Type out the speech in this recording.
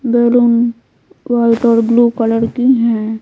Balloon white और blue colour की है।